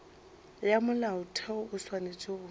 ya molaotheo o swanetše go